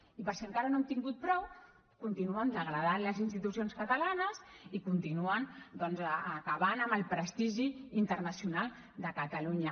i per si encara no n’hem tingut prou continuen degradant les institucions catalanes i continuen doncs acabant amb el prestigi internacional de catalunya